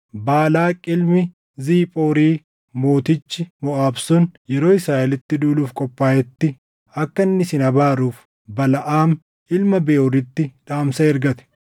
Baalaaq ilmi Ziphoori mootichi Moʼaab sun yeroo Israaʼelitti duuluuf qophaaʼetti akka inni isin abaaruuf Balaʼaam ilma Beʼooritti dhaamsa ergate.